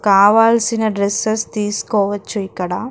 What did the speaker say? కావాల్సిన డ్రెస్సెస్ తీసుకోవచ్చు ఇక్కడ --